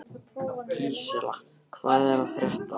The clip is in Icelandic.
Gísela, hvað er að frétta?